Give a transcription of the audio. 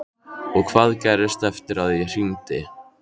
Og hvað gerðist eftir að ég hringdi?